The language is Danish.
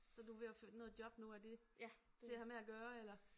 Så du ved at finde noget job nu er det til at have med at gøre eller